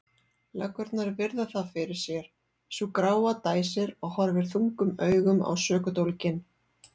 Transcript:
Löggurnar virða það fyrir sér, sú gráa dæsir og horfir þungum augum á sökudólginn.